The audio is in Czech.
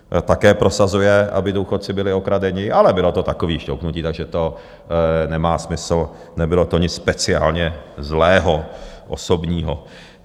Také prosazuje, aby důchodci byli okradeni, ale bylo to takové šťouchnutí, takže to nemá smysl, nebylo to nic speciálně zlého, osobního.